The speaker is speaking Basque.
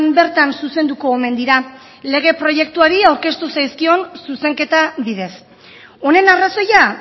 bertan zuzenduko omen dira lege proiektuari aurkeztu zaizkion zuzenketa bidez honen arrazoia